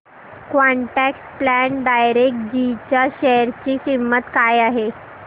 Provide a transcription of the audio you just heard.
quant tax plan direct G च्या share ची किंमत काय आहे